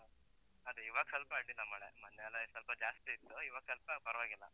ಅದೇ, ಇವಾಗ್ ಸ್ವಲ್ಪ ಅಡ್ಡಿಲ್ಲ ಮಳೆ, ಮೊನ್ನೆಯೆಲ್ಲ ಎ ಸ್ವಲ್ಪ ಜಾಸ್ತಿ ಇತ್ತು, ಇವಾಗ್ ಸ್ವಲ್ಪ ಪರ್ವಾಗಿಲ್ಲ.